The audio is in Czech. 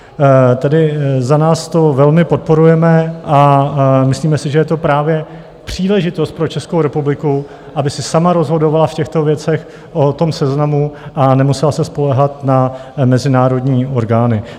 Tedy za nás to velmi podporujeme a myslíme si, že je to právě příležitost pro Českou republiku, aby si sama rozhodovala v těchto věcech o tom seznamu a nemusela se spoléhat na mezinárodní orgány.